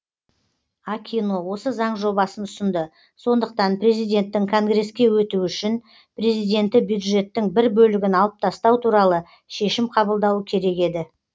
акино осы заң жобасын ұсынды сондықтан президенттің конгреске өтуі үшін президенті бюджеттің бір бөлігін алып тастау туралы шешім қабылдауы керек еді